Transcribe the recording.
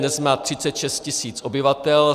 Dnes má 36 tisíc obyvatel.